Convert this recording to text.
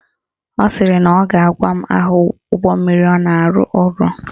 Ọ sịrị na ọ ga-agwa m aha ụgbọmmiri ọ na-arụ ọrụ